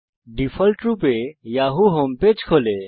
ডিফল্টরূপে Yahoo home page খোলে